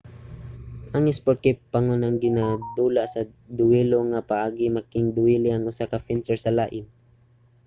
ang isport kay pangunang ginadula sa duwelo nga paagi making-duwele ang usa ka fencer sa lain